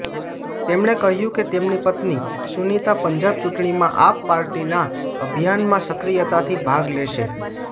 તેમણે કહ્યું કે તેમની પત્ની સુનીતા પંજાબ ચૂંટણીમાં આપ પાર્ટીના અભિયાનમાં સક્રિયતાથી ભાગ લેશે